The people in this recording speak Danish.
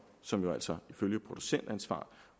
som jo altså ifølge producentansvar